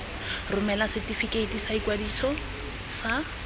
romela setefikeiti sa ikwadiso sa